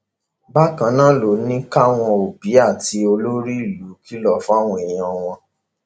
bákan náà ló ní káwọn òbí àti olórí ìlú kìlọ fáwọn èèyàn wọn